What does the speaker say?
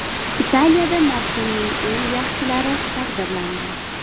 Italiyada mavsuming eng yaxshilari taqdirlandi.